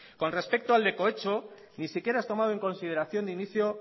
con respecto al de cohecho ni siquiera es tomado en consideración de inicio